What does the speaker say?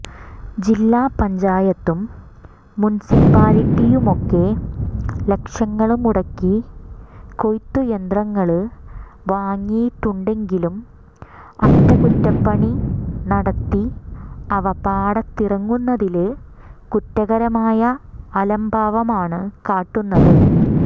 ജില്ലാ പഞ്ചായത്തും മുനിസിപ്പാലിറ്റിയുമൊക്കെ ലക്ഷങ്ങള് മുടക്കി കൊയ്ത്തു യന്ത്രങ്ങള് വാങ്ങിയിട്ടുണ്ടെങ്കിലും അറ്റകുറ്റപ്പണി നടത്തി അവ പാടത്തിറക്കുന്നതില് കുറ്റകരമായ അലംഭാവമാണ് കാട്ടുന്നത്